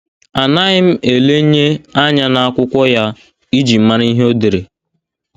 Anaghị m elenye anya n’akwụkwọ ya iji mara ihe o dere.